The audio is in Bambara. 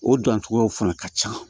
O dancogow fana ka ca